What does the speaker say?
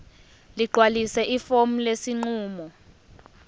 ligcwalise ifomu lesinqumo